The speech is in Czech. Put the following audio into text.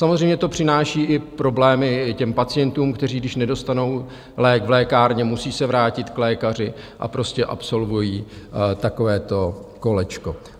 Samozřejmě to přináší i problémy těm pacientům, kteří když nedostanou lék v lékárně, musí se vrátit k lékaři, a prostě absolvují takovéto kolečko.